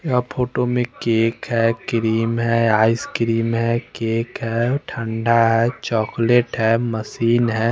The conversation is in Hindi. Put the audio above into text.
या फोटो में केक है क्रीम है आइस क्रीम है केक है ठंडा है चॉक्लेट है मशीन है।